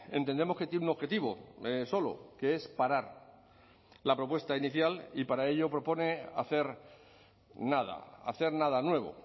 entendemos que tiene un objetivo solo que es parar la propuesta inicial y para ello propone hacer nada hacer nada nuevo